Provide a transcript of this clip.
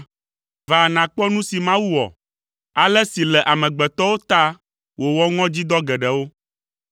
Va, nàkpɔ nu si Mawu wɔ, ale si le amegbetɔwo ta wòwɔ ŋɔdzidɔ geɖewo!